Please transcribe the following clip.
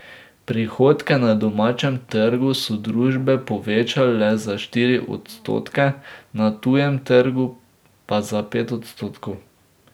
Prihodke na domačem trgu so družbe povečale za štiri odstotke, na tujem trgu pa za pet odstotkov.